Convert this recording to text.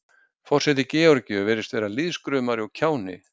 Forseti Georgíu virðist vera lýðskrumari og kjáni.